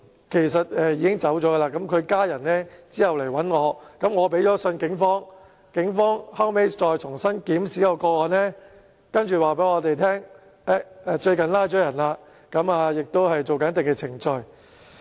其實該市民已經離世，他的家人後來向我求助，我致函警方，警方後來重新檢視該個案，然後回覆我們表示最近已拘捕相關人士，亦正進行一定的程序。